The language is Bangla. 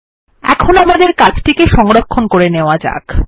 এখন আমাদের কাজটিকে সংরক্ষণ করে নেওয়া যাক